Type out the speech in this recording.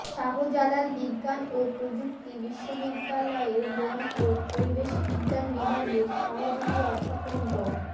শাহজালাল বিজ্ঞান ও প্রযুক্তি বিশ্ববিদ্যালয়ের বন ও পরিবেশ বিজ্ঞান বিভাগের সহযোগী অধ্যাপক ড